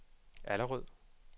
Allerød